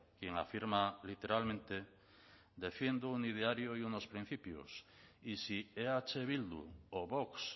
quien afirma literalmente defiendo un ideario y unos principios y si eh bildu o vox